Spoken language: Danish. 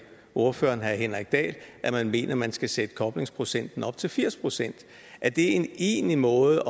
ordføreren herre henrik dahl at man mener at man skal sætte koblingsprocenten op til firs procent er det egentlig en måde